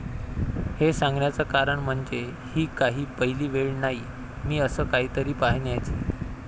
हे सांगण्याचं कारण म्हणजे ही काही पहिली वेळ नाही मी असं काहीतरी पाहण्याची.